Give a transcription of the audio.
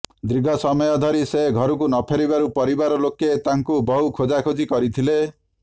ଦୀର୍ଘ ସମୟ ଧରି ସେ ଘରକୁ ନଫେରିବାରୁ ପରିବାର ଲୋକେ ତାଙ୍କୁ ବହୁ ଖୋଜାଖୋଜି କରିଥିଲେ